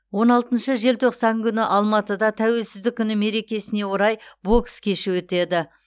он алтыншы желтоқсан күні алматыда тәуелсіздік күні мерекесіне орай бокс кеші өтеді